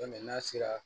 n'a sera